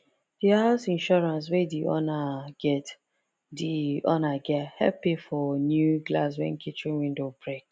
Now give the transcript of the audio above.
the house insurance wey the owner get the owner get help pay for new glass when kitchen window break